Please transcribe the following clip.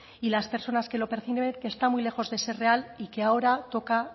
y las personas que lo perciben que está muy lejos de ser real y que ahora toca